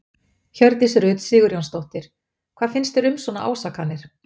Hjördís Rut Sigurjónsdóttir: Hvað finnst þér um svona ásakanir?